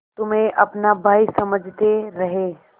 तुम्हें अपना भाई समझते रहे